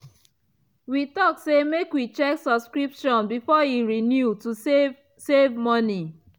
we talk say make we check subscription before e renew to save save money.